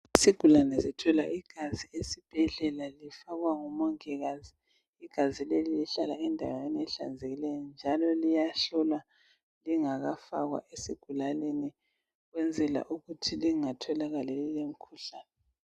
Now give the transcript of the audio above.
Isigulane zithola igazi esibhedlela lifakwa ngumongikazi, igazi leli lihlala endaweni ehlanzekileyo njalo liyahlolwa lingakafakwa esigulaneni ukwenzela ukuthi lingatholakali lilemkhuhlani.